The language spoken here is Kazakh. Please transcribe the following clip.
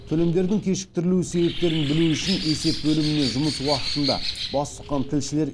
төлемдердің кешіктірілу себептерін білу үшін есеп бөліміне жұмыс уақытында бас сұққан тілшілер